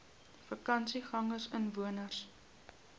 vakansiegangersinwoners